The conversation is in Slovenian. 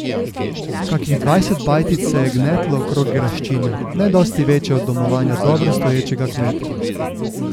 Kakih dvajset bajtic se je gnetlo okrog graščine, ne dosti večje od domovanja dobro stoječega kmeta.